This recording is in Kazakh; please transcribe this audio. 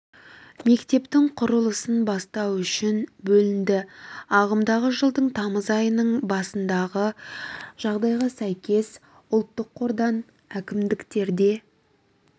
мектептің құрылысын бастау үшін бөлінді ағымдағы жылдың тамыз айының басындағы жағдайға сәйкес ұлттық қордан әкімдіктерге